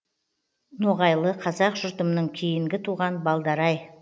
ноғайлы қазақ жұртымның кейінгі туған балдары ай